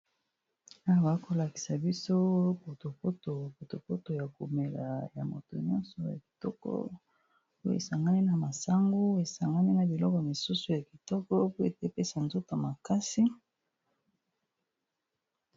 Awa namoni balakisi biso eza poto poto ya komela namoni ezali ya masangu babakisi biloko mosusu emonani eza malamu penza